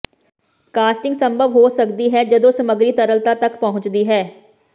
casting ਸੰਭਵ ਹੋ ਸਕਦੀ ਹੈ ਜਦੋਂ ਸਮੱਗਰੀ ਤਰਲਤਾ ਤਕ ਪਹੁੰਚਦੀ ਹੈ